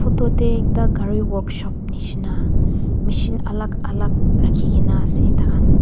ekta kari work shop nishina machine alak alak raki kina ase ta kan.